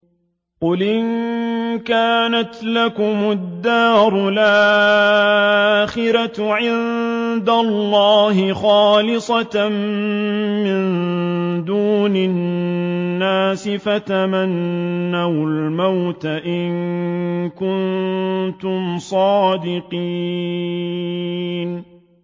قُلْ إِن كَانَتْ لَكُمُ الدَّارُ الْآخِرَةُ عِندَ اللَّهِ خَالِصَةً مِّن دُونِ النَّاسِ فَتَمَنَّوُا الْمَوْتَ إِن كُنتُمْ صَادِقِينَ